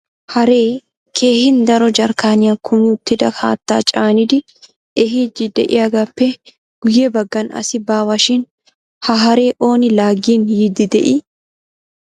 Haree keehin daro jarkkaniyan kumi uttida haattaa caanidi ehiidi de'iyaagappe guyye baggan asi baawa shin ha haree ooni laagin yiidi de'ii?